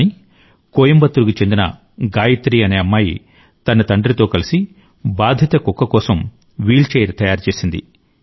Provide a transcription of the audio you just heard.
కానీ కోయంబత్తూరుకు చెందిన గాయత్రి అనే అమ్మాయి తన తండ్రితో కలిసి బాధిత కుక్క కోసం వీల్చైర్ తయారు చేసింది